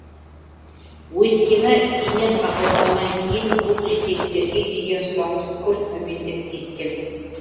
өйткені ине табылғаннан кейін бұл жидектерге деген сұраныс күрт төмендеп кеткен